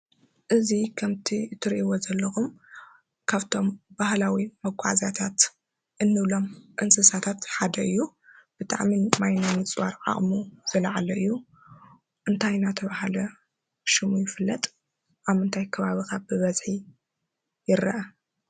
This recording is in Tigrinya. እዚ ከምቲ ትሪእዎም ዘለኹም ካብቶም ባህላዊ መጓዕዝያታት እንብሉም እንስሳታት ሓደ እዩ። ብጣዕሚ ማይ ናይ ምፅዋር ዓቅሙ ዝለዓለ እዩ። እንታይ እናተባህለ ሽሙ ይፍለጥ? ኣብ ምንታይ ከባቢ ብበዝሒ ይረአ?